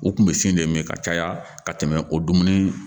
U kun bɛ sen de min ka caya ka tɛmɛ o dumuni